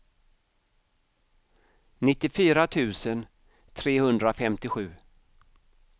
nittiofyra tusen trehundrafemtiosju